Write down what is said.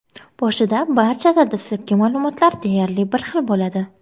Boshida barchada dastlabki ma’lumotlar deyarli bir xil bo‘ladi.